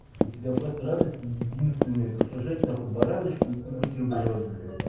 у тебя просто радость единственная это сожрать нахуй бараночку и бутерброд блять